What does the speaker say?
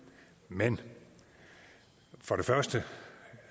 men for det første